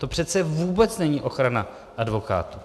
To přece vůbec není ochrana advokátů.